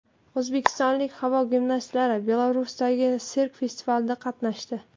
O‘zbekistonlik havo gimnastlari Belarusdagi sirk festivalida qatnashdi.